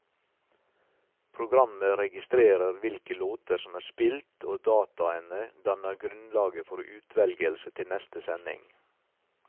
Programmet registrerer hvilke låter som er spilt, og dataene danner grunnlaget for utvelgelse til neste sending.